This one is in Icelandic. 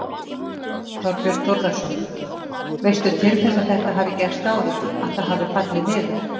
Þorbjörn Þórðarson: Veistu til þess að þetta hafi gerst áður, að það hafi fallið niður?